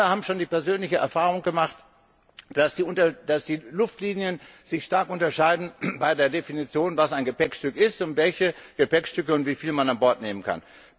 Wir alle haben schon die persönliche Erfahrung gemacht, dass die Luftlinien sich stark unterscheiden bei der Definition, was ein Gepäckstück ist und welche Gepäckstücke und wie viele man an Bord nehmen kann.